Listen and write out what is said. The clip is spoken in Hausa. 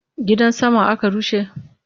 Gidan saman aka rushe?